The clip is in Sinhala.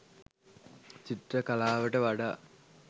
චිත්‍ර කලාවට වඩා